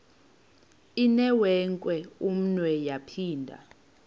inewenkwe umnwe yaphinda